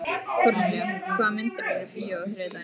Kornelía, hvaða myndir eru í bíó á þriðjudaginn?